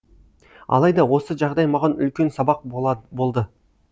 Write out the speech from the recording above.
алайда осы жағдай маған үлкен сабақ болды